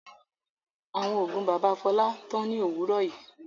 Àwọn oògùn bàbá Fọlá tán ní òwúrọ̀ yìí.